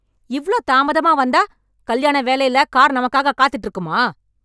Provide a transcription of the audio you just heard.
இவ்ளோ தாமதமா வந்தா, கல்யாண வேலையில கார் நமக்காக காத்துட்டு இருக்குமா..